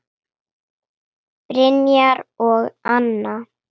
Brynjar og Anna.